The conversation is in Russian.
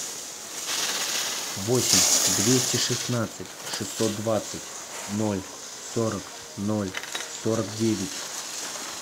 восемь двести шестнадцать шестьсот двадцать ноль сорок ноль сорок девять